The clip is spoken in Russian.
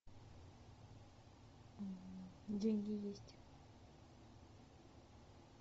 деньги есть